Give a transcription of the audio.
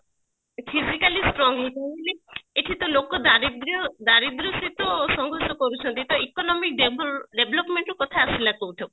physically strong ହେଇଥିବା ବୋଲେ ଏଠିତ ଲୋକ ଦାରିଦ୍ର୍ଯ ଦାରିଦ୍ର୍ଯ ସହିତ ସଂଘର୍ଷ କରୁଛନ୍ତି ତ economy develop development ର କଥା ଆସିଲା କୋଉଠୁ